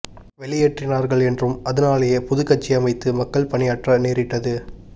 வெளியேற்றினா ர்கள் என்றும் அதனாலேயே புதுக் கட்சியமைத்து மக்கள் பணியாற்ற நேரிட்டது